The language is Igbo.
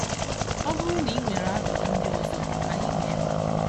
Ọ bụrụ na ị nwere ajụjụ ndị ọzọ, Anyị nọ ebe a!.